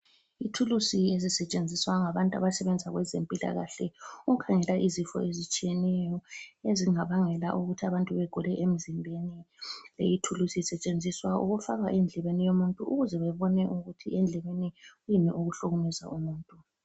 Ithulusi ezisetshenziswa ngabantu abasebenza kwezempilakahle ukukhangela izifo ezitshiyeneyo ezingabangela ukuthi abantu bagule emzimbeni. Leyi thulusi isetshenziswa ukufakwa endlebeni yomuntu ukuze babone ukuthi endlebeni kuyini okuhlukumeza umuntu.